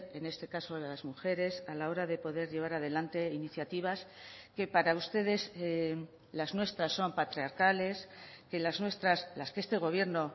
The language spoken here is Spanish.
en este caso de las mujeres a la hora de poder llevar adelante iniciativas que para ustedes las nuestras son patriarcales que las nuestras las que este gobierno